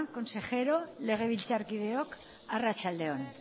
sailburuok legebiltzarkideok arratsalde on